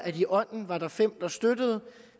i ånden var fem der støttede